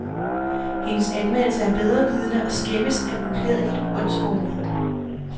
Hendes anmeldelse er bedrevidende og skæmmes af uklædeligt åndshovmod.